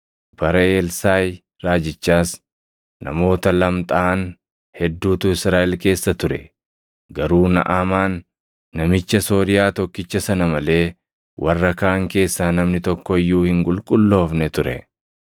Bara Elsaaʼi raajichaas namoota lamxaaʼan hedduutu Israaʼel keessa ture; garuu Naʼamaan, namicha Sooriyaa tokkicha sana malee warra kaan keessaa namni tokko iyyuu hin qulqulloofne ture.”